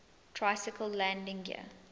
tricycle landing gear